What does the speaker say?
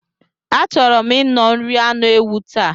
A chọrọ m nno iri anụ ewu taa.